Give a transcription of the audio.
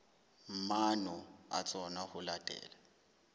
maano a tsona ho latela